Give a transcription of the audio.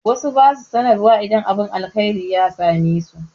Wasu ba su sanarwa idan abin alheri ya same su.